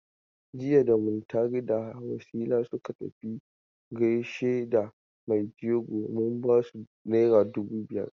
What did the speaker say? Jiya da Muntari da Wasila suka tafi gaishe da mai jego mun bata naira dubu biyar.